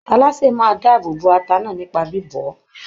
Alásè náà máa dáàbòbo ata náà nípa bíbọ̀ ọ́.